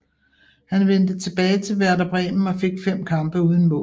Han vendte tilbage til Werder Bremen og fik 5 kampe uden mål